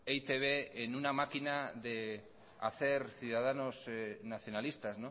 e i te be en una máquina de hacer ciudadanos nacionalistas